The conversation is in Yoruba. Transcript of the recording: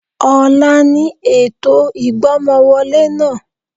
Ọ̀la ni ètò ìgbọ́mọwọlé náà